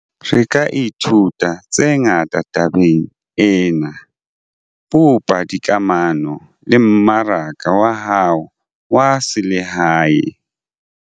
Re ka ithuta tse ngata tabeng ena - bopa dikamano le mmaraka wa hao wa selehae.